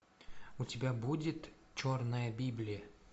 у тебя будет черная библия